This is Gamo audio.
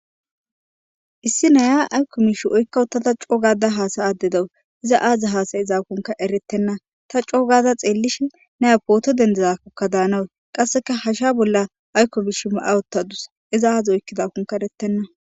issi naya aykko miish oykkawutada coogada haasa addedawu iza aadza haasay izaakonka erettenna ta coogada xeellish ne apooto dendizakkokka daanawu qasseka hasha bolla aykko mish ma7awottadus iza aadzi oykkidakonka erettenna